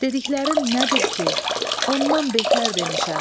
Dediklərin nədir ki, ondan betər demişəm.